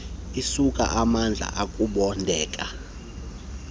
isuka amadlu ukubondeka